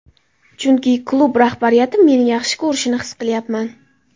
Chunki klub rahbariyati meni yaxshi ko‘rishini his qilyapman.